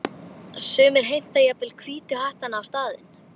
Sumir heimta jafnvel Hvítu hattana á staðinn.